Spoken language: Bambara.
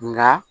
Nka